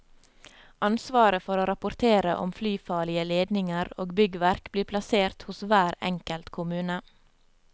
Ansvaret for å rapportere om flyfarlige ledninger og byggverk blir plassert hos hver enkelt kommune.